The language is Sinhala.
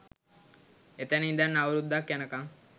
එතැන ඉඳන් අවුරුදුක් යනකම්